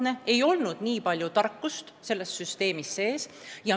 Selles süsteemis ei olnud nii palju tarkust sees.